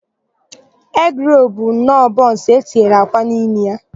Egịrolu bụnọọ bọnsụ e tinyere akwa n'ime ya.